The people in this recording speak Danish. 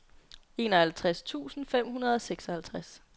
enoghalvtreds tusind fem hundrede og seksoghalvtreds